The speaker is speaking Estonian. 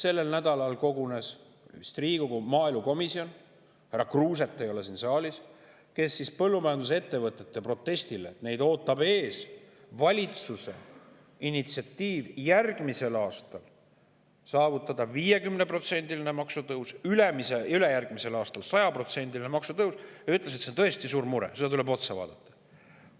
Minu andmetel kogunes sellel nädalal Riigikogu maaelukomisjon – härra Kruuset ei ole siin saalis –, kes ütles põllumajandusettevõtete protesti peale – neid ootab valitsuse initsiatiivil järgmisel aastal ees 50%‑line maksutõus, ülejärgmisel aastal 100%‑line maksutõus –, et see on tõesti suur mure, sellele tuleb otsa vaadata.